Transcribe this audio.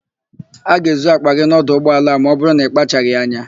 A ga-ezu àkpà gị n'ọdụ ụgbọala a ma ọbụrụ na ịkpachaghị anya.